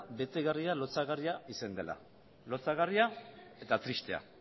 betegarria lotsagarria izan dela lotsagarria eta tristea